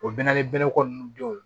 O bɛna ko nunnu denw